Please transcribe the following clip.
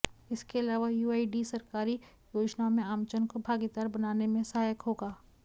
इसके अलावा यूआईडी सरकारी योजनाओं में आमजन को भागीदार बनाने में सहायक होगा